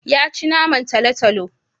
Ya ci naman talo-talo.